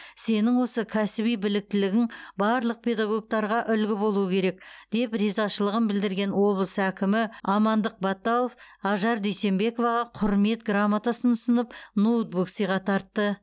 сенің осы кәсіби біліктілігің барлық педагогтарға үлгі болуы керек деп ризашылығын білдірген облыс әкімі амандық баталов ажар дүйсенбековаға құрмет грамотасын ұсынып ноутбук сыйға тартты